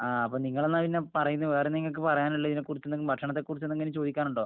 ആ.. അപ്പൊ നിങ്ങളെന്നാ പിന്നെ പറയുന്നേ? വേറെന്ത നിങ്ങക്ക് പറയാനുള്ളെ? ഇതിനെക്കുറിച്ച്, ഭക്ഷണത്തെ കുറിച്ച് എന്തെങ്കിലും ചോദിക്കാനുണ്ടോ?